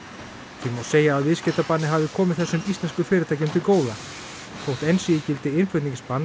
því má segja að viðskiptabannið hafi komið þessum íslensku fyrirtækjum til góða þótt enn sé í gildi innflutningsbann á